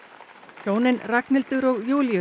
hjónin Ragnhildur og Júlíus